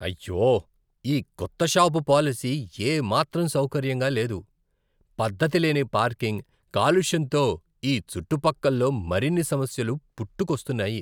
అయ్యో! ఈ కొత్త షాపు పాలసీ ఏమాత్రం సౌకర్యంగా లేదు. పద్ధతి లేని పార్కింగ్, కాలుష్యంతో ఈ చుట్టుపక్కల్లో మరిన్ని సమస్యలు పుట్టుకొస్తున్నాయి.